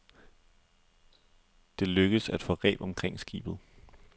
Det lykkedes at få reb omkring skibet.